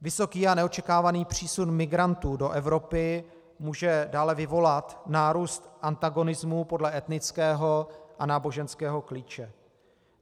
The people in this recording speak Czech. Vysoký a neočekávaný přísun migrantů do Evropy může dále vyvolat nárůst antagonismu podle etnického a náboženského klíče.